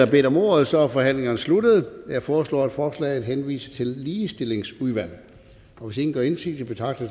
bedt om ordet og så er forhandlingen sluttet jeg foreslår at forslaget henvises til ligestillingsudvalget hvis ingen gør indsigelse betragter